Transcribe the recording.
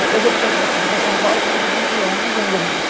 Depois ele foi transferido para São Paulo, para onde nós viemos e onde eu